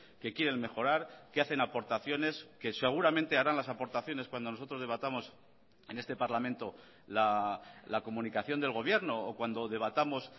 que quieren mejorar que hacen aportaciones que seguramente harán las aportaciones cuando nosotros debatamos en este parlamento la comunicación del gobierno o cuando debatamos